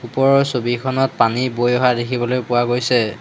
ওপৰৰ ছবিখনত পানী বৈ অহা দেখিবলৈ পোৱা গৈছে।